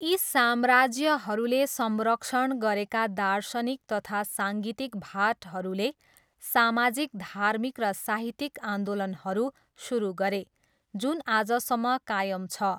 यी साम्राज्यहरूले संरक्षण गरेका दार्शनिक तथा साङ्गीतिक भाटहरूले सामाजिक धार्मिक र साहित्यिक आन्दोलनहरू सुरु गरे जुन आजसम्म कायम छ।